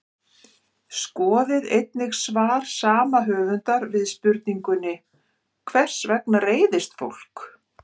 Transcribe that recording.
Skoðið einnig svar sama höfundar við spurningunni Hvers vegna reiðist fólk?